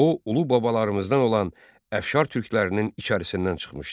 O, ulu babalarımızdan olan Əfşar türklərinin içərisindən çıxmışdı.